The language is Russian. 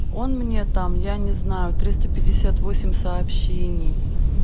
он мне там я не знаю триста пятьдесят восемь сообщений